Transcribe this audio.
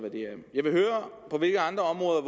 jeg vil høre på hvilke andre områder